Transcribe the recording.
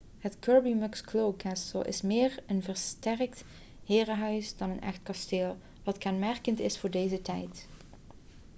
het kirby muxloe castle is meer een versterkt herenhuis dan een echt kasteel wat kenmerkend is voor deze tijd